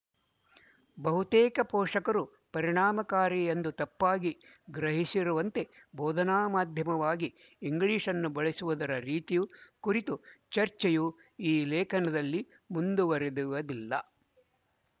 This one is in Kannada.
ಬಹುತೇಕ ಪೋಷಕರು ಪರಿಣಾಮಕಾರಿ ಎಂದು ತಪ್ಪಾಗಿ ಗ್ರಹಿಸಿರುವಂತೆ ಬೋಧನಾ ಮಾಧ್ಯಮವಾಗಿ ಇಂಗ್ಲಿಶ್‌ನ್ನು ಬಳಸುವುದರ ರೀತಿಯು ಕುರಿತು ಚರ್ಚೆಯು ಈ ಲೇಖನದಲ್ಲಿ ಮುಂದುವರೆಯುವುದಿಲ್ಲ